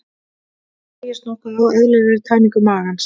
Það hægist nokkuð á eðlilegri tæmingu magans.